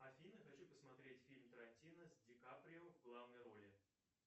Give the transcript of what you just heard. афина хочу посмотреть фильм тарантино с ди каприо в главной роли